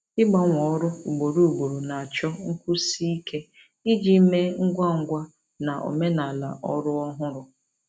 Ịgbanwe ọrụ ugboro ugboro na-achọ nkwụsi ike iji mee ngwa ngwa na omenala ọrụ ọhụrụ.